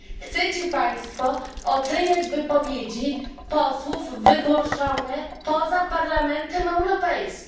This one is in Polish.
Chcecie państwo oceniać wypowiedzi posłów wygłoszone poza Parlamentem Europejskim.